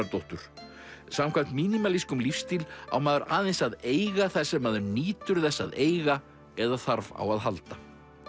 Guðrúnardóttur samkvæmt lífstíl á maður aðeins að eiga það sem maður nýtur þess að eiga eða þarf á að halda